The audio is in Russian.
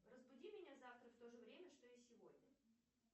разбуди меня завтра в то же время что и сегодня